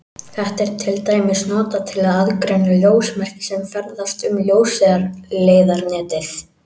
Þetta er til dæmis notað til að aðgreina ljósmerki sem ferðast um ljósleiðaranetið.